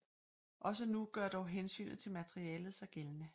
Også nu gør dog hensynet til materialet sig gældende